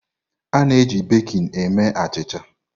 A-na eji bekịn eme achịcha.